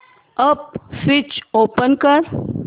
app switch on कर